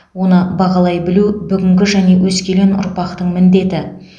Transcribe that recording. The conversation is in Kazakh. оны бағалай білу бүгінгі және өскелең ұрпақтың міндеті